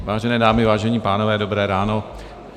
Vážené dámy, vážení pánové, dobré ráno.